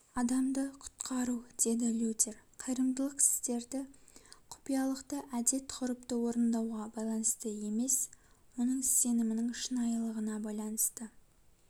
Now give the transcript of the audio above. адамды құткару деді лютер қайырымдылық істерді құпиялықты әдет-ғұрыпты орындауға байланысты емес оның сенімінің шынайылылығына байланысты